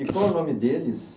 E qual o nome deles?